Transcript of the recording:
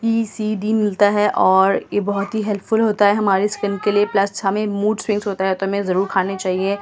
ये सी_डी मिलता है और ये बहुत ही हेल्पफुल होता है हमारी स्किन के लिए प्लस हमें मूड स्विंग्स होता है तो हमें जरूर खाने चाहिए।